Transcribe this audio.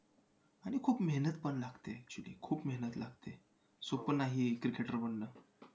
आणि खूप मेहनतपण लागते actually खूप मेहनत लागते. सोपं नाही एक cricketer बनणं.